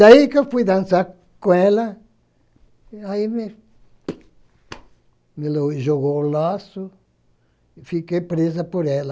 Daí que eu fui dançar com ela, aí me me jogou o laço e fiquei presa por ela.